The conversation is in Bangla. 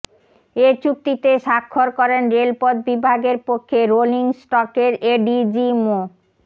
এ চুক্তিতে স্বাক্ষর করেন রেলপথ বিভাগের পক্ষে রোলিং স্টকের এডিজি মো